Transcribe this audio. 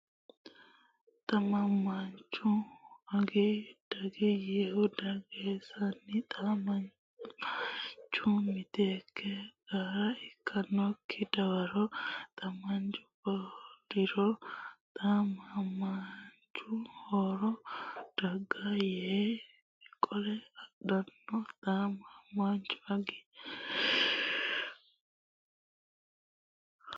Xa mamaanchu Agi daga yiihu gedensaanni xa maanchu miteekke gara ikkitinokki dawaro xa maanchu qoliro xa mamaanchu Horro daga ya yee qole adhanno Xa mamaanchu Agi.